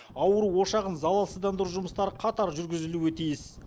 ауру ошағын залалсыздандыру жұмыстары қатар жүргізілуі тиіс